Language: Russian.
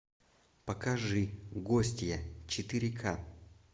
покажи гостья четыре ка